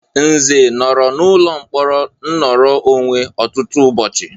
Nze nọrọ n'ụlọ mkpọrọ nnoro onwe ọtụtụ ụbọchị.